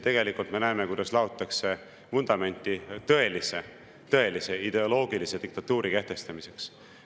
Tegelikult me näeme, kuidas laotakse vundamenti tõelise ideoloogilise diktatuuri kehtestamiseks.